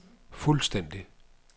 fuldstændig